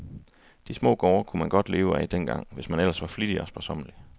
De små gårde kunne man godt leve af dengang, hvis man ellers var flittig og sparsommelig.